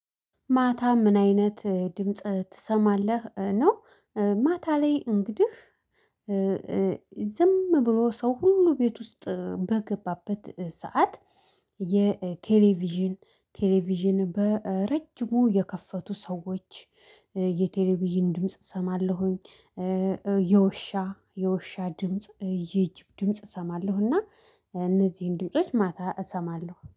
ማታ ምን አይነት ድምጽ ትሰማለህ ነው? ማታ ላይ እንግድህ ዝም ብሎ ሰው ሁሉ ቤት ውስጥ በገባበት ሰዓት የቴሌቪዥን ቴሌቪዥን በረጅሙ የከፈቱ ሰዎች የቴሌቪዥን ድምጽ እሰማለሁኝ። የውሻ የውሻ ድምጽ ይህን ድምጽ እሰማለሁና እነዚህን ድምጾች ማታ እሰማለሁ